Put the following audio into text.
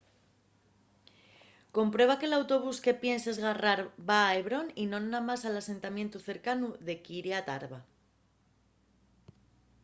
comprueba que l’autobús que pienses garrar va a hebrón y non namás al asentamientu cercanu de kiryat arba